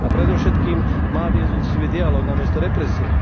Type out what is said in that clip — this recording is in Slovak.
A predovšetkým má viesť úctivý dialóg namiesto represie.